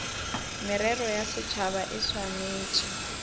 merero ya setšhaba e swanetše